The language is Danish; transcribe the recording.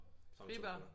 Fri bar